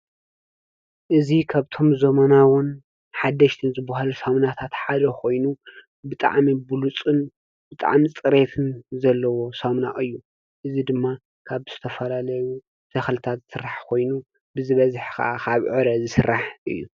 እዚ ካብቶም ዘመናውን ሓደሽቲ ዝባሃሉ ሳምናታት ሓደ ኮይኑ ብጣዕሚ ብሉፅን ብጣዕሚ ፅሬትን ዘለዎ ሳምና እዩ። እዚ ድማ ካብ ዝተፈላለዩ ተኽልታት ዝስራሕ ኮይኑ ብዝበዝሐ ከዓ ካብ ዕረ ዝስራሕ እዩ ።